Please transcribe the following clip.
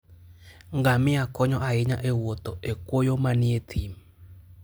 Ngamia konyo ahinya e wuotho e kwoyo manie thim.